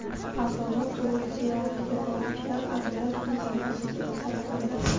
Avvalo, ulug‘ ziyoratga boruvchilar adolat mezoni asosida saralandi.